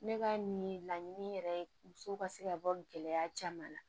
Ne ka nin laɲini yɛrɛ ye muso ka se ka bɔ gɛlɛya caman na